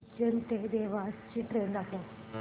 उज्जैन ते देवास ची ट्रेन दाखव